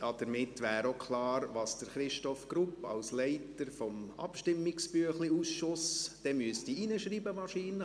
Damit wäre auch klar, was Christoph Grupp als Leiter des Abstimmungsbüchlein-Ausschusses wahrscheinlich dort hineinschreiben müsste.